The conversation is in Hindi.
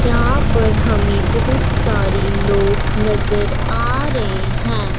यहां पर हमें बहुत सारे लोग नजर आ रहे हैं।